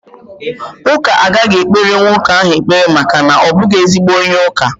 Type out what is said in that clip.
Ụka agaghị ekpere nwoke ahụ ekpere maka na ọ bụghị ezigbo onye ụka